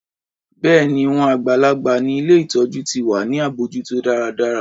Bẹ́ẹ̀ni, wọn àgbàlagbà ni ilé ìtọjú ti wà ní abójútó dáradára.